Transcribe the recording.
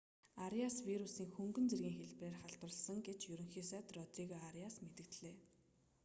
ариас вирусийн хөнгөн зэргийн хэлбэрээр халдварласан гэж ерөнхий сайд родриго ариас мэдэгдлээ